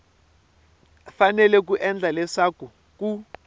fanele ku endla leswaku ku